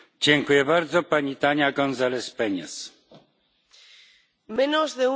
Menos de uno de cada cinco expertos, tertulianos o presentadores son mujeres.